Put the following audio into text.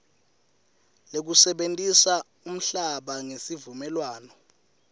lekusebentisa umhlaba ngesivumelwano